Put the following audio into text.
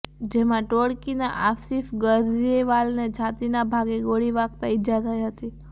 જેમાં ટોળકીના આસિફ ઝગારીયાવાલાને છાતીના ભાગે ગોળી વાગતા ઇજા થઈ હતી